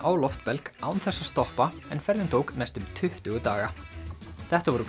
á loftbelg án þess að stoppa en ferðin tók næstum tuttugu daga þetta voru